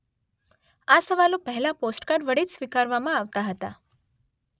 આ સવાલો પહેલાં પૉસ્ટકાર્ડ વડે જ સ્વીકારવામાં આવતાં હતા